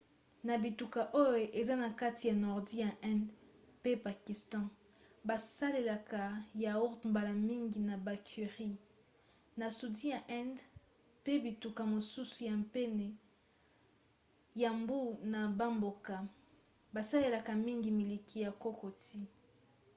na bituka oyo eza na kati na nordi ya inde mpe pakistan basalelaka yaourt mbala mingi na bacurries; na sudi ya inde mpe na bituka mosusu ya pene ya mbu na bamboka basalelaka mingi miliki ya kokoti